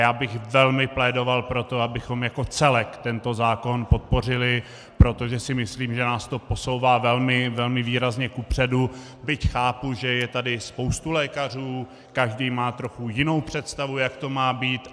Já bych velmi plédoval pro to, abychom jako celek tento zákon podpořili, protože si myslím, že nás to posouvá velmi výrazně kupředu, byť chápu, že je tady spousta lékařů a každý má trochu jinou představu, jak to má být.